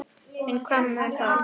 En hvað um það